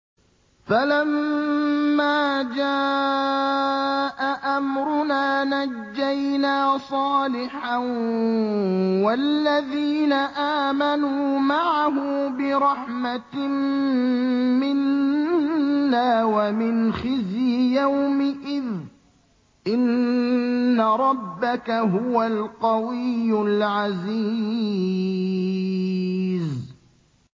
فَلَمَّا جَاءَ أَمْرُنَا نَجَّيْنَا صَالِحًا وَالَّذِينَ آمَنُوا مَعَهُ بِرَحْمَةٍ مِّنَّا وَمِنْ خِزْيِ يَوْمِئِذٍ ۗ إِنَّ رَبَّكَ هُوَ الْقَوِيُّ الْعَزِيزُ